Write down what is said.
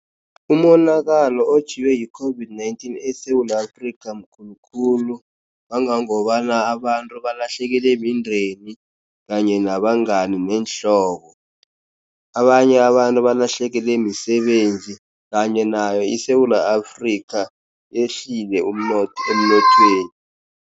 Umonakalo otjhiwe yi-COVID-19 eSewula Afrika mkhulukhulu, kangangobana abantu balahlekelwe mindeni kanye nabangani neenhlobo. Abanye abantu balahlekelwe misebenzi kanye nayo iSewula Afrika lehlile umnotho emnothweni.